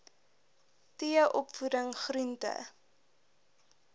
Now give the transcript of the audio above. t opvoeding groente